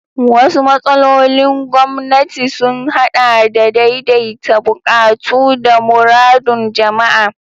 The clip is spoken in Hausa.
Wasu matsalolin gwamnati sun haɗa da daidaita buƙatu da muradun jama'a.